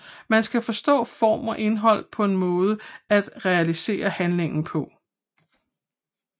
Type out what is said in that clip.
Man skal forstå form og indhold som en måde at realisere handlingen på